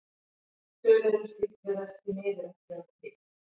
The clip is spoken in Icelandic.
Tölur um slíkt virðast því miður ekki vera til.